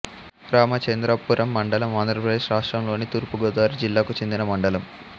రామచంద్రపురం మండలం ఆంధ్రప్రదేశ్ రాష్ట్రంలోని తూర్పు గోదావరి జిల్లాకు చెందిన మండలం